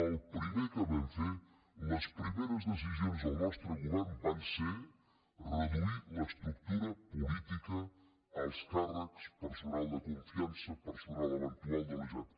el primer que vam fer les primeres decisions del nostre govern van ser reduir l’estructura política alts càrrecs personal de confiança personal eventual de la generalitat